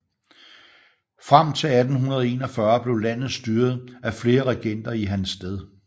Frem til 1841 blev landet styret af flere regenter i hans sted